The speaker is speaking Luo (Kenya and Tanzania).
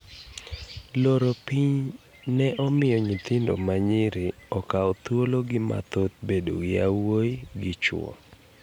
Loro piny ne omiyo nyithindo manyiri kawo thuolo gi mathoth bedo gi yawuoyi gi chuo.